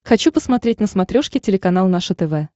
хочу посмотреть на смотрешке телеканал наше тв